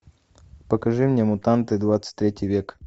покажи мне мутанты двадцать третий век